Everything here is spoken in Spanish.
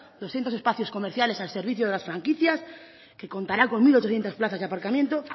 doscientos espacios comerciales al servicio de las franquicias que contará con plazas de aparcamiento